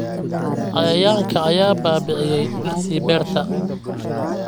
Cayayaanka ayaa baabi'iyay dhirtii beerta